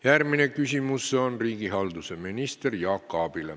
Järgmine küsimus on riigihalduse ministrile Jaak Aabile.